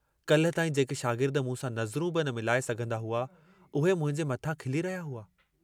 काल्ह ताईं जेके शागिर्द मूं सां नज़रूं बि न मिलाए सघंदा हुआ, उहे मुंहिंजे मथां खिली रहिया हुआ!